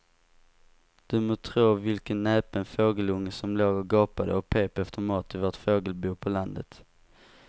Du må tro vilken näpen fågelunge som låg och gapade och pep efter mat i vårt fågelbo på landet.